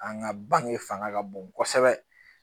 An ka bange fanga ka bon kosɛbɛ